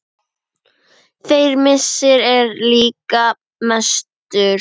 Þeirra missir er líka mestur.